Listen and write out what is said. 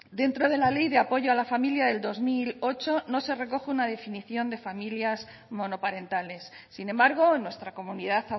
dentro de la ley de apoyo a la familia del dos mil ocho no se recoge una definición de familias monoparentales sin embargo en nuestra comunidad